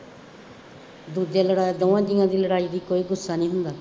ਦੂਜੇ ਲੜਾਏ, ਦੌਹਾਂ ਜੀਆਂ ਦੀ ਲੜਾਈ ਦਾ ਕੋਈ ਗੁੱਸਾ ਨਹੀਂ ਹੁੰਦਾ,